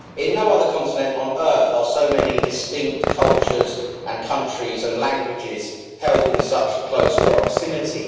In no other continent on earth are so many distinct cultures, countries and languages held in such close proximity.